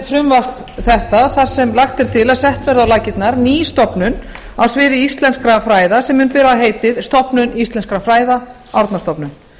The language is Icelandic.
frumvarp þetta þar sem lagt er til að sett verði á laggirnar ný stofnun á sviði íslenskra fræða sem mun bera heitið stofnun íslenskra fræða árnastofnun